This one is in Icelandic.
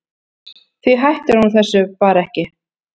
Því hætti hún þessu bara ekki.